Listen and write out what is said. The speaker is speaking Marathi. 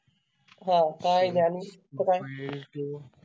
हाकाय गानू तेच काय